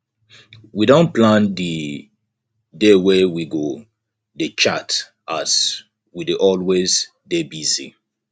we don plan di dey wey we go dey chat as we dey always dey busy